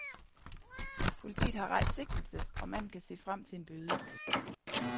Politiet har rejst sigtelse, og manden kan se frem til en bøde.